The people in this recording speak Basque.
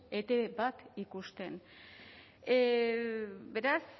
etb bat ikusten beraz